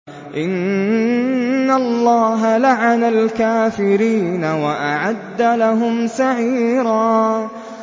إِنَّ اللَّهَ لَعَنَ الْكَافِرِينَ وَأَعَدَّ لَهُمْ سَعِيرًا